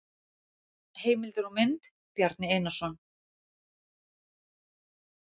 Heimildir og mynd: Bjarni Einarsson.